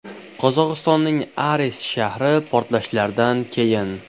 Qozog‘istonning Aris shahri portlashlardan keyin.